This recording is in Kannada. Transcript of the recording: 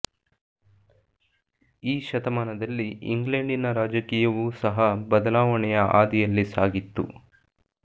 ಈ ಶತಮಾನದಲ್ಲಿ ಇಂಗ್ಲೆಂಡಿನ ರಾಜಕೀಯವೂ ಸಹ ಬದಲಾವಣೆಯ ಆದಿಯಲ್ಲಿ ಸಾಗಿತ್ತು